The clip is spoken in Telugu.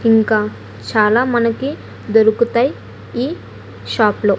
ఇంకా చాలా మనకి దొరుకుతాయి ఈ షాప్ లో .